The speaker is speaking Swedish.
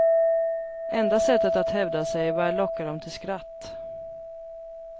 Enda sättet att hävda sig, var att locka dem till skratt.